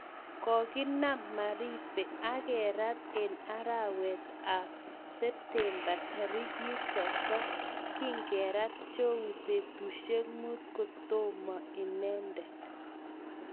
Koginam maribe akerat eng' arawet ap septemba tarik 30, kigerat jowie patusiek muut kotoma inendet